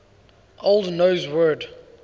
old norse word